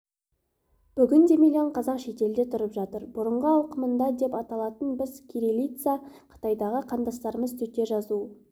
бүгінде миллион қазақ шетелде тұрып жатыр бұрынғы ауқымында деп аталатын біз кириллица қытайдағы қандастарымыз төте жазу